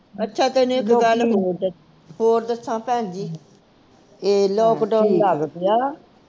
ਅੱਛਾ ਤੈਨੂੰ ਇਕ ਗੱਲ ਹੋਰ ਹੋਰ ਦੱਸਾਂ ਭੈਣ ਜੀ ਇਹ lockdown ਲੱਗ ਗਿਆ ਆ